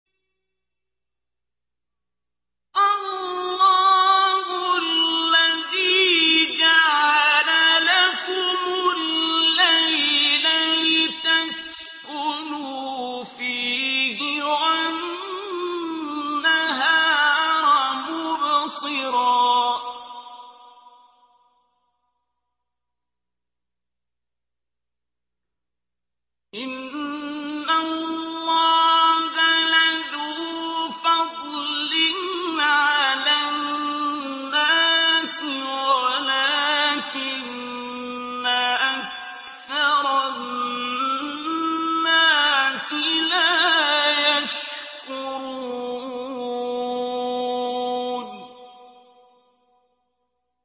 اللَّهُ الَّذِي جَعَلَ لَكُمُ اللَّيْلَ لِتَسْكُنُوا فِيهِ وَالنَّهَارَ مُبْصِرًا ۚ إِنَّ اللَّهَ لَذُو فَضْلٍ عَلَى النَّاسِ وَلَٰكِنَّ أَكْثَرَ النَّاسِ لَا يَشْكُرُونَ